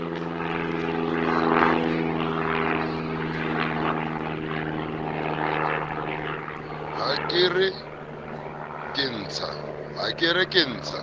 ha ke re ke ntsha